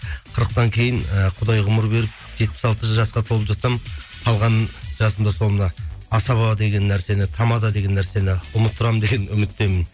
қырықтан кейін ііі құдай ғұмыр беріп жетпіс алты жасқа толып жатсам қалған жасымда сол мына асаба деген нәрсені тамада деген нәрсені ұмыттырамын деген үміттемін